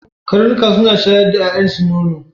Karnuka suna shayar da ƴaƴansu nono.